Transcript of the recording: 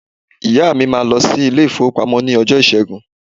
Ìyá mi máà lọ sí ilé-ìfowópamọ́ ní ọjọ́ Ìṣẹ́gun.